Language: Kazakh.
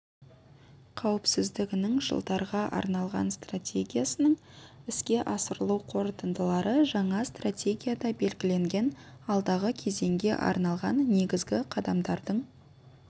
қауіпсіздігінің жылдарға арналған стратегиясының іске асырылу қорытындылары жаңа стратегияда белгіленген алдағы кезеңге арналған негізгі қадамдардың